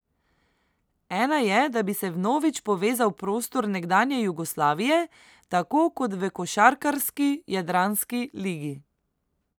Ena je, da bi se vnovič povezal prostor nekdanje Jugoslavije, tako kot v košarkarski jadranski ligi.